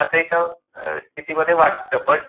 अस एका स्थिती मध्ये वाटत. बट